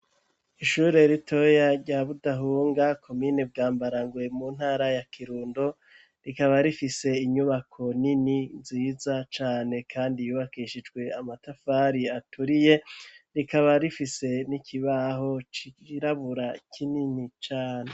Ishure ritoya rya Budahunga, komine Bwambarangwe, mu ntara ya Kirundo, rikaba rifise inyubako nini nziza cane kandi yubakishijwe amatafari aturiye, rikaba rifise n'ikibaho cirabura kinini cane.